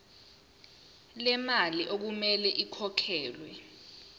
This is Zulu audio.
lemali okumele ikhokhelwe